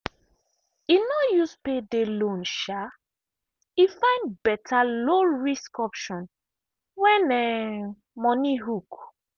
e no use payday loan um e find better low-risk option when um money hook.